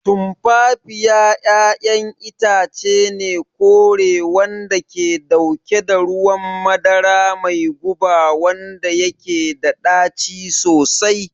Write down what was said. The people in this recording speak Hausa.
Tumfafiya ƴaƴan itace ne kore wanda ke dauke da ruwan madara mai guba wanda yake da ɗaci sosai.